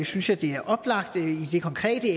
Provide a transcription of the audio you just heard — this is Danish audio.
synes jeg det er oplagt i det konkrete